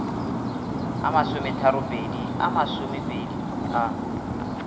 a masometharopedi a masomepedi a